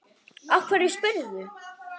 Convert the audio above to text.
Af hverju spyrðu?